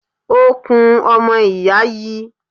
Ọ̀kùn ọmọ ìyá yi.